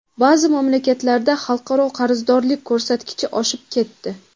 Ba’zi mamlakatlarda xalqaro qarzdorlik ko‘rsatkichi oshib ketdi.